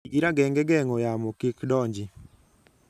Ti gi rageng' e geng'o yamo kik donji.